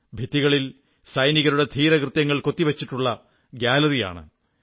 ഭിത്തികളിൽ സൈനികരുടെ ധീരകൃത്യങ്ങൾ കൊത്തിവച്ചിട്ടുള്ള ഗ്യാലറിയാണിത്